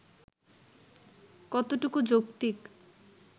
কতটুকু যৌক্তিক